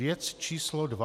Věc číslo dva.